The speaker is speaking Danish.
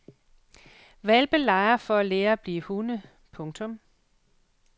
Hvalpe leger for at lære at blive hunde. punktum